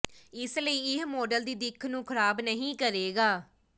ਇਸ ਲਈ ਇਹ ਮਾਡਲ ਦੀ ਦਿੱਖ ਨੂੰ ਖਰਾਬ ਨਹੀਂ ਕਰੇਗਾ